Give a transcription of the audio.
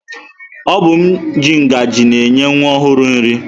Obum ji ngaji na-enye nwa ọhụrụ nri.